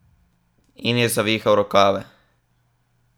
In je zavihal rokave.